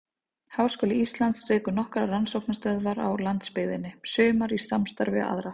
Háskóli Íslands rekur nokkrar rannsóknastöðvar á landsbyggðinni, sumar í samstarfi við aðra.